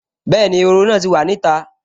Bẹ́ẹ̀ni, ehoro náà wà ní ìta